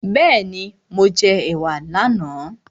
Bẹ́ẹ̀ni, mo jẹ ẹ̀wà ní àná